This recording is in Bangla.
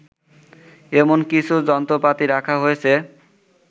এমন কিছু যন্ত্রপাতি রাখা হয়েছে